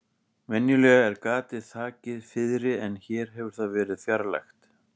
Venjulega er gatið þakið fiðri en hér hefur það verið fjarlægt.